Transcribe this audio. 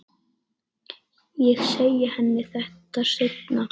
Ég segi henni þetta seinna.